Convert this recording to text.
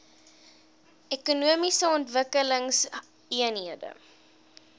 ekonomiese ontwikkelingseenhede eoes